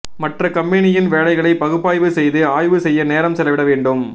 மற்ற கம்பெனியின் வேலைகளை பகுப்பாய்வு செய்து ஆய்வு செய்ய நேரம் செலவிட வேண்டும்